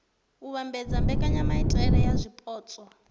u vhambedza mbekanyamaitele ya zwipotso